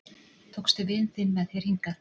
Tókstu vin þinn með þér hingað?